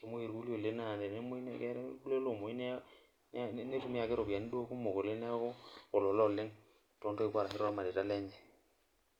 kemuoi irkulie naa ketii ninye irkulie ake loomwoyu neitumia ake duo ropiyiani kumok oleng neeku olola oleng toontoiwuo orashu tormarei lenye.